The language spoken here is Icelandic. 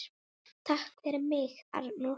Takk fyrir mig, Arnór.